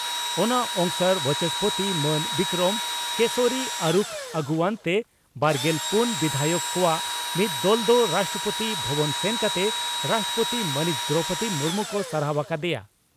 ᱚᱱᱟ ᱚᱝᱥᱟᱨ ᱵᱟᱪᱚᱥᱯᱳᱛᱤ ᱢᱟᱱ ᱵᱤᱠᱨᱚᱢ ᱠᱮᱥᱚᱨᱤ ᱟᱨᱩᱠᱷ ᱟᱜᱩᱣᱟᱹᱱ ᱛᱮ ᱵᱟᱨᱜᱮᱞ ᱯᱩᱱ ᱵᱤᱫᱷᱟᱭᱚᱠ ᱠᱚᱣᱟᱜ ᱢᱤᱫ ᱫᱚᱞ ᱫᱚ ᱨᱟᱥᱴᱨᱚᱯᱳᱛᱤ ᱵᱷᱚᱵᱚᱱ ᱥᱮᱱ ᱠᱟᱛᱮ ᱨᱟᱥᱴᱨᱚᱯᱳᱛᱤ ᱢᱟᱹᱱᱤᱡ ᱫᱨᱚᱣᱯᱚᱫᱤ ᱢᱩᱨᱢᱩ ᱠᱚ ᱥᱟᱨᱦᱟᱣ ᱟᱠᱟ ᱫᱮᱭᱟ ᱾